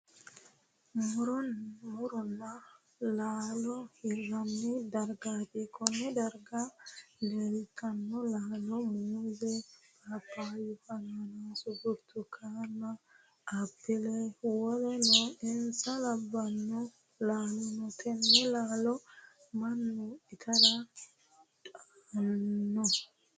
Muronna laallo hiranni dargaati. Konne darga leltano laallo muuze, paphaya, hannannaase, burtukaanenna apile woleno insa labbanno laallo no. Tenne laallo Manu itara hidhano.